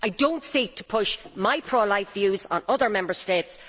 I do not seek to push my pro life views on other Member States.